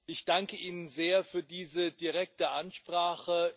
Ich danke Ihnen sehr für diese direkte Ansprache.